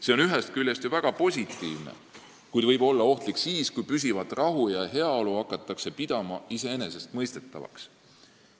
See on ju ühest küljest väga positiivne, kuid võib olla ohtlik siis, kui püsivat rahu ja heaolu hakatakse pidama iseenesestmõistetavaks.